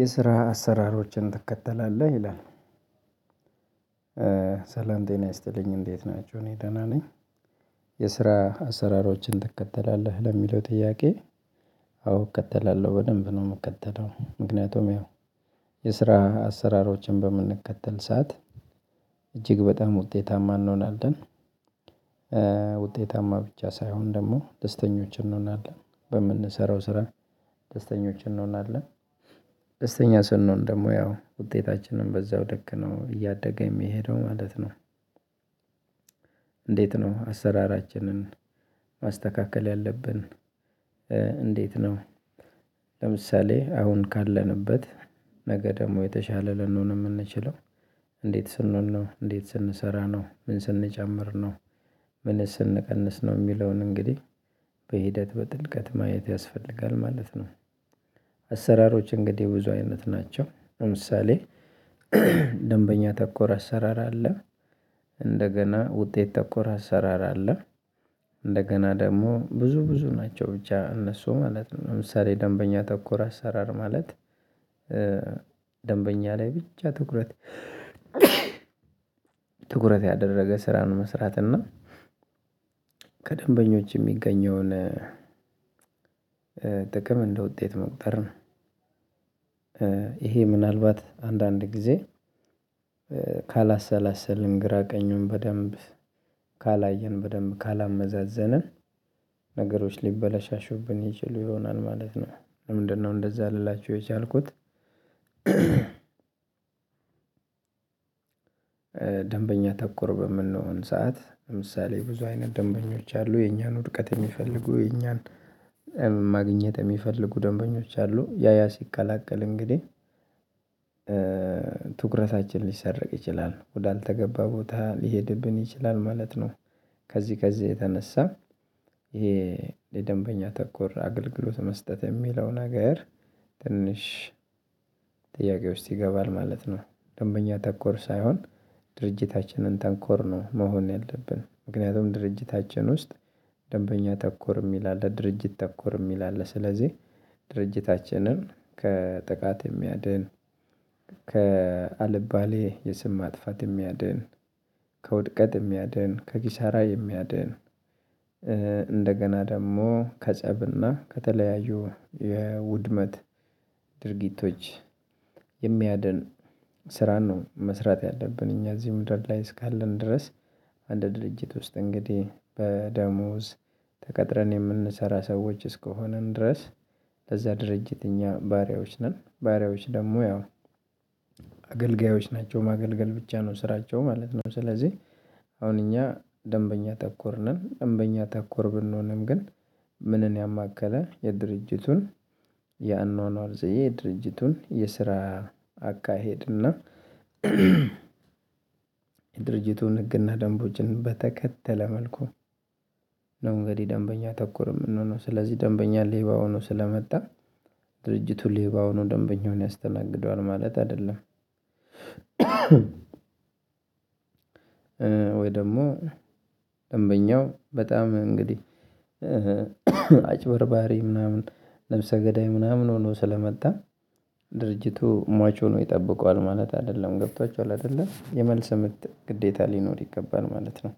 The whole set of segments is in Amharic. የስራ አሰራሮችን ትከተላለህ ይላል? ሰላም ጤና ይስጥልኝ እንዴት ናቸው እኔ ደህና ነኝ። የስራ አሰራሮችን ትከተላለህ ለሚለው ጥያቄ? አዎ እከተላለሁ በደንብ ነው የምከተለው። ምክንያቱም ያው የስራ አሰራሮችን በምንከተል ሰዓት እጅግ በጣም ውጤታማ እንሆናለን። ውጤታማ ብቻ ሳይሆን ደግሞ ደስተኞች እንሆናለን በምንሰራው ስራ ደስተኞች እንሆናለን። ደስተኛ ስንሆን ደግሞ ያው ውጤታችንን በዛው ልክ ነው እያደገ የሚሄደው ማለት ነው። እንዴት ነው አሰራራችንን ማስተካከል ያለብን? እንዴት ነው? ለምሳሌ አሁን ካለንበት ነገ ደግሞ የተሻለ ልንሆን የምንችለው እንዴት ስንሆን ነው እንዴት ስንሰራ ነው ምን ስንጨምር ነው? ምንስ ስንቀንስ ነው የሚለውን እንግዲህ በሂደት በጥልቀት ማየት ያስፈልጋል ማለት ነው። አሰራሮች እንግዲህ ብዙ አይነት ናቸው። ለምሳሌ ደንበኛ ተኮር አሰራር አለ። እንደገና ውጤት ተኮር አሰራር አለ። እንደገና ደግሞ ብዙ ብዙ ናቸው ብቻ እነሱ ማለት ነው ለምሳሌ ደንበኛ ተኮር አሰራር ማለት። ደንበኛ ላይ ብቻ ትኩረት ትኩረት ያደረገ ስራን መስራት እና ከደንበኞች የሚገኘውን ጥቅም እንደ ውጤት መቁጠር ነው። ይሄ ምናልባት አንዳንድ ጊዜ ካላሰላሰልን ግራ ቀኙን በደንብ ካላየን በደንብ ካላመዛዘንን ነገሮች ሊበላሻሽብን ይችሉ ይሆናል ማለት ነው። ለምንድነው እንደዛ ልላችሁ የቻልኩት? ደንበኛ ተኮር በምንሆን ሰዓት ለምሳሌ ብዙ አይነት ደንበኞች አሉ የኛን ውድቀት የሚፈልጉ የኛን ማግኘት የሚፈልጉ ደንበኞች አሉ ያ ያ ሲቀላቀል እንግዲህ ትኩረታችን ሊሰርቅ ይችላል ወዳልተገባ ቦታ ሊሄድብን ይችላል ማለት ነው። ከዚህ ከዚህ የተነሳ ይሄ ለደንበኛ ተኮር አገልግሎት መስጠት የሚለው ነገር ትንሽ ጥያቄው ውስጥ ይገባል ማለት ነው። ደንበኛ ተኮር ሳይሆን ድርጅታችንን ተንኮር ነው። መሆን ያለብን ምክንያቱም ድርጅታችን ውስጥ ደንበኛ ተኮር የሚል አለ ድርጅት ተኮር የሚል አለ። ስለዚህ ድርጅታችንን ከጥቃት የሚያድን ከአልባሌ የስም ማጥፋት የሚያድን ከውድቀት የሚያድን ከኪሳራ የሚያድን እንደገና ደግሞ ከጸብና ከተለያዩ የውድመት ድርጊቶች የሚያድን ስራን ነው መስራት ያለብን እኛ እዚህ ምድር ላይ እስካለን ድረስ። አንድ ድርጅት ውስጥ እንግዲህ በደሞዝ ተቀጥረን የምንሰራ ሰዎች እስከሆንን ድረስ። ለዛ ድርጅት እኛ ባሪያዎች ነን። ባሪያዎች ደግሞ ያው አገልጋዮች ናቸው ማገልገል ብቻ ነው ስራቸው ማለት ነው። ስለዚህ አሁን እኛ ደንበኛ ተኮር ነን። ደንበኛ ተኮር ብንሆንም ግን ምንን ያማከለ የድርጅቱን የአኗኗር ዘዬ የድርጅቱን የስራ አካሄድና የድርጅቱን ህግና ደንቦችን በተከተለ መልኩ ነው። እንግዲህ ደንበኛ ተኮር የምንሆነው ስለዚህ ደንበኛ ሌባ ሆኖ ስለመጣ ድርጅቱ ሌባ ሆኖ ደንበኛውን ያስተናግደዋል ማለት አይደለም። ወይ ደግሞ ደንበኛው በጣም እንግዲህ አጭበርባሪ ምናምን ነብሰ ገዳይ ምናምን ሆኖ ስለመጣ ድርጅቱ ሟች ሆኖ ይጠብቀዋል ማለት አይደለም ገብቷችኋል አይደለ የመልስ ምት ግዴታ ሊኖር ይገባል ማለት ነው።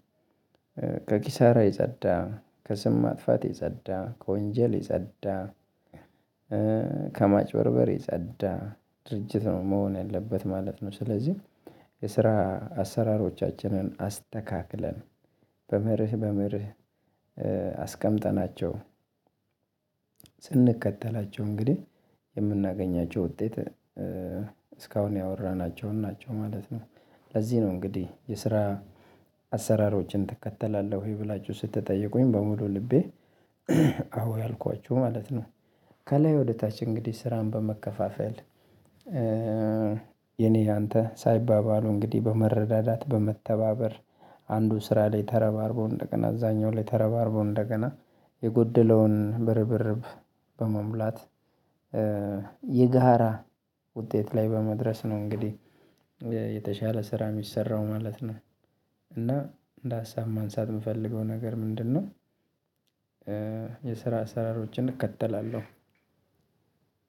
ከኪሳራ የጸዳ ከስም ማጥፋት የጸዳ ከወንጀል የጸዳ ከማጭበርበር የጸዳ ድርጅት ነው መሆን ያለበት ማለት ነው። ስለዚህ የስራ አሰራሮቻችንን አስተካክለን በምርህ በምርህ አስቀምጠናቸው ስንከተላቸው እንግዲህ የምናገኛቸው ውጤት እስካሁን ያወራናቸውን ናቸው ማለት ነው። ለዚህ ነው እንግዲህ የስራ አሰራሮችን ትከተላለህ ወይ ብላችሁ ስትጠይቁኝ በሙሉ ልቤ አዎ ያልኳችሁ ማለት ነው። ከላይ ወደ ታች እንግዲህ ስራን በመከፋፈል የኔ የአንተ ሳይባባሉ እንግዲህ በመረዳዳት በመተባበር አንዱ ስራ ላይ ተረባርቦ እንደገና እዛኛው ላይ ተረባርቦ እንደገና የጎደለውን በርብርብ በመሙላት የጋራ ውጤት ላይ በመድረስ ነው። እንግዲህ የተሻለ ስራ የሚሰራው ማለት ነው። እና እንደ ሀሳብ ማንሳት የምፈልገው ነገር ምንድነው? የስራ አስራሮችን እከተላለሁ።